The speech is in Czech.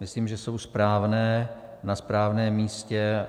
Myslím, že jsou správné, na správném místě.